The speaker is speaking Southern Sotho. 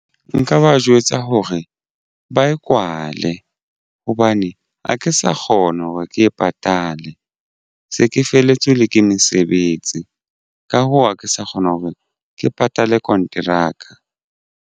Nka ba jwetsa hore ba e kwale hobane ha ke sa kgona hore ke e patale se ke felletswe ke mesebetsi. Ka hoo ha ke sa kgona hore ke patale konteraka.